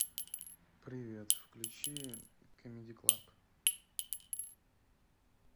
привет включи камеди клаб